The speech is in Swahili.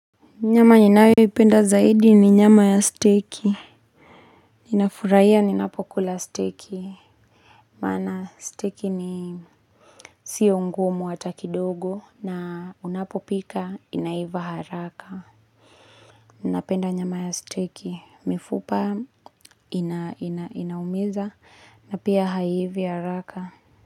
Nyama ninayo ipenda zaidi ni nyama ya steki. Nafurahiya ninapokula steki. Maana steki ni sio ngumu hata kidogo na unapopika inaiva haraka. Ninapenda nyama ya steki. Mifupa inaumiza na pia haiivi haraka.